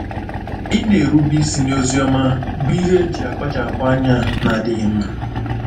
Ịna-erube isi n’Oziọma bụ ihe eji akpachapụ anya na-adịghị mma.